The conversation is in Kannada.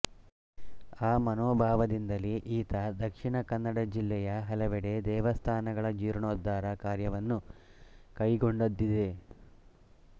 ಆ ಮನೋಭಾವದಿಂದಲೇ ಈತ ದಕ್ಷಿಣ ಕನ್ನಡ ಜಿಲ್ಲೆಯ ಹಲವೆಡೆ ದೇವಸ್ಥಾನಗಳ ಜೀರ್ಣೋದ್ಧಾರ ಕಾರ್ಯವನ್ನು ಕೈಕೊಂಡದ್ದಿದೆ